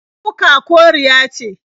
Kuka koriya ce.